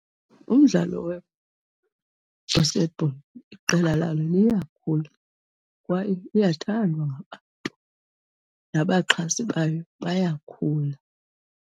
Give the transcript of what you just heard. Umdlalo we-basketball iqela lalo liyakhula kwaye iyathandwa ngabantu, nabaxhasi bayo bayakhula.